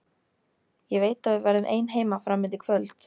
Ég veit að við verðum ein heima fram undir kvöld.